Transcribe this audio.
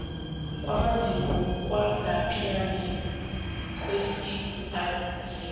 kwamazinyo kwangaphandle kwesibhedlela